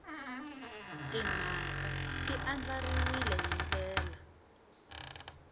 timhaka ti andlariwile hi ndlela